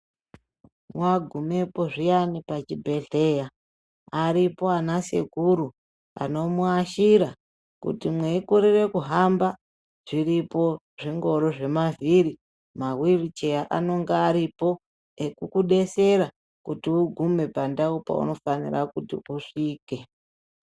Wagumapo muzvibhedhlera varipo vana sekuru vanomuashira kuti mweikorera kuhamba zviripo zvingoro zvemavhiri mawheel chair anenge Aripo ekukudetsera kuti pandau panofana kuti usvike.